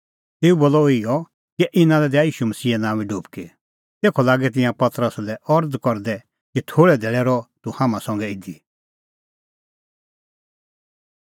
तेऊ बोलअ इहअ कि इना लै दैआ ईशू मसीहे नांओंए डुबकी तेखअ लागै तिंयां पतरसा लै अरज़ करदै कि थोल़ै धैल़ै रहअ तूह हाम्हां संघै इधी